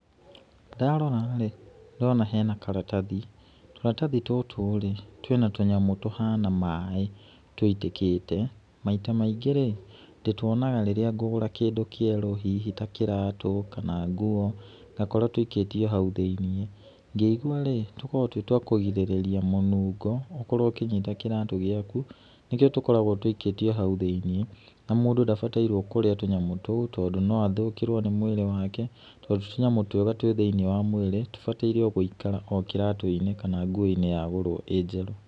Ndarora rĩ, ndĩrona hena karatathi, tũratathi tũtũ rĩ, twna tũnyamũ tũhana maĩ, tũitĩkĩte, maita maingĩ rĩ, ndĩtuonaga rĩrĩa ngũgũra kĩndũ kĩerũ hihi ta kĩratũ kana nguo ngakora tũikĩtio hau thĩiniĩ, ngĩigua rĩ, tũkoragwo twĩ twa kũgirĩrĩria mũnungo, korwo ũkĩigĩte kĩratũ gĩaku nĩkĩo tũkoragwo tũikĩtio hau thĩiniĩ na mũndũ ndabataire kũrĩa tũnyamu tũu tondũ no athũkĩrwo nĩ mwĩrĩ wake, tondũ ti tũnyamũ twega thũinĩ wa mwĩrĩ, tũbatiĩ gũikara o kĩratũ-inĩ kana nguo-inĩ yagũrwo ĩ njerũ.